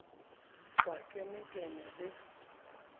ha ke ne ke le